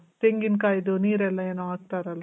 ತೆಂಗಿನಕಾಯ್ದು ನೀರಲ್ಲ ಏನೊ ಹಾಕ್ತಾರಲ್ಲ?